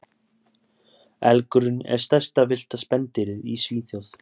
Elgurinn er stærsta villta spendýrið í Svíþjóð.